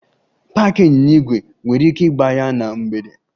Paaki ịnyịnya ígwè! Ị nwere ike ịgba ya na mgbede.